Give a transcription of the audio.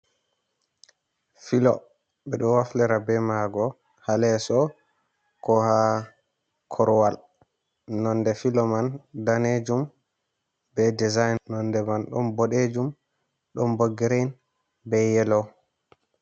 Filo. beɗo waflira be maago haleso, ko ha korwal. nonde filo man danejum be design nonde man don boɗejum don bo girin be yelo.